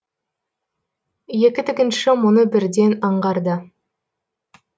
екі тігінші мұны бірден аңғарды